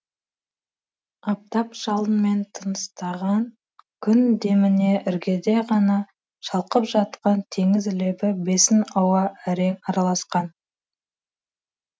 аптап жалынмен тыныстаған күн деміне іргеде ғана шалқып жатқан теңіз лебі бесін ауа әрең араласқан